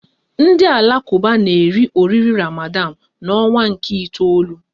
Ndị Alakuba na eri oriri Ramadan n'ọnwa nke itoolu